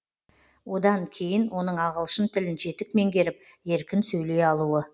одан кейін оның ағылшын тілін жетік меңгеріп еркін сөйлей алуы